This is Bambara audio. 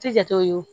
Tɛ jate o